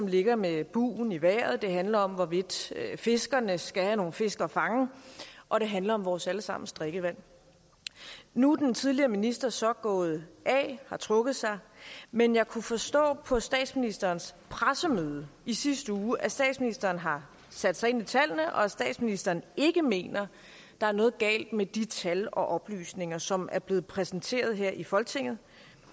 ligger med bugen i vejret det handler om hvorvidt fiskerne skal have nogle fisk at fange og det handler om vores alle sammens drikkevand nu er den tidligere minister så gået af har trukket sig men jeg kunne forstå på statsministerens pressemøde i sidste uge at statsministeren har sat sig ind i tallene og at statsministeren ikke mener at der er noget galt med de tal og oplysninger som er blevet præsenteret her i folketinget